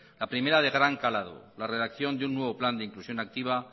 la primera de gran calado la redacción de un nuevo plan de inclusión activa